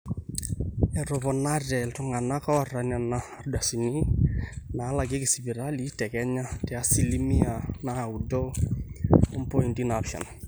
eetoponate iltung'anak oota nena ardasini naalakieki sipitali te kenya te asilimia naaudo ompointi naapishana